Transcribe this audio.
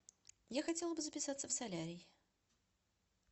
я хотела бы записаться в солярий